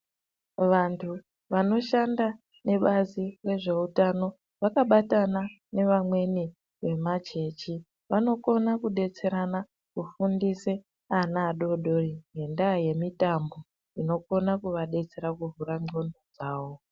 Vantu vanoshanda nebazi rezveutano vakabatana nemachechi vanokona kudetserana kufundisa ana adodori ngendaa yemitambo inokona kuva detsera kuvhura ndxondo dzavo.